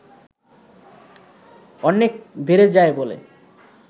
অনেক বেড়ে যায় বলে